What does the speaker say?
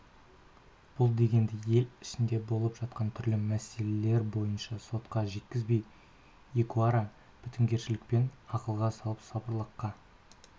бұл деген ел ішіндегі болып жатқан түрлі мәселелер бойынша сотқа жеткізбей екеуара бітімгерлікпенен ақылға салып сабырлыққа